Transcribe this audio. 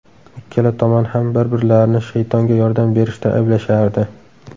Ikkala tomon ham bir-birlarini shaytonga yordam berishda ayblashardi.